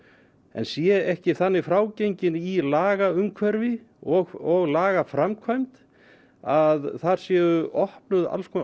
en sé ekki þannig frágenginn í lagaumhverfi og lagaframkvæmd að þar séu opnaðar alls konar